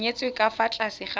nyetswe ka fa tlase ga